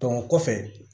o kɔfɛ